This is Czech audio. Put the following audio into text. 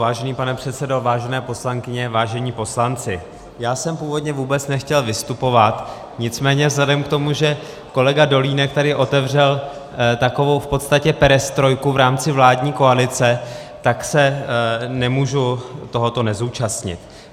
Vážený pane předsedo, vážené poslankyně, vážení poslanci, já jsem původně vůbec nechtěl vystupovat, nicméně vzhledem k tomu, že kolega Dolínek tady otevřel takovou v podstatě perestrojku v rámci vládní koalice, tak se nemůžu tohoto nezúčastnit.